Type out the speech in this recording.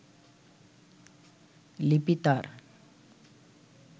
লিপি তার